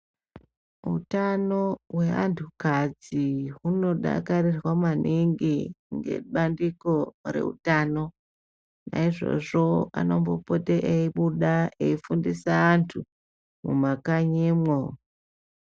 Utano hweanhu kadzi hunodakarirwa maningi ngebandiko reutano naizvozvo anombopote eibuda eifundisa antu mumakanyimwo.